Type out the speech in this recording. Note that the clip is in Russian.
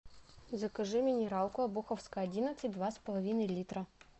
закажи минералку обуховская одиннадцать два с половиной литра